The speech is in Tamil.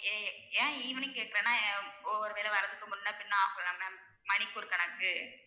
எ~ ஏன் evening கேக்குறேன்னா ஒ~ ஒரு வேளை வரதுக்கு முன்ன பின்ன ஆகலாம் ma'am மணிக்கு ஒரு கணக்கு